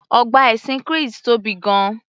Ọgbà ẹṣin Chris tóbi gan-an